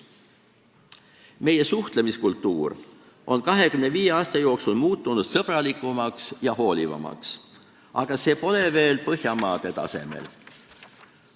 Meie suhtlemiskultuur on 25 aasta jooksul muutunud sõbralikumaks ja hoolivamaks, aga see pole veel Põhjamaade tasemel.